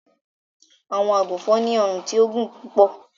Àwọǹ àgúnfọn ni ọ̀run ti ò gún púpọ̀.